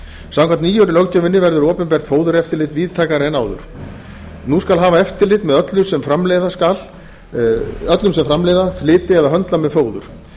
samkvæmt nýju löggjöfinni verður opinbert fóðureftirlit víðtækara en áður nú skal hafa eftirlit með öllum sem framleiða flytja eða höndla með fóður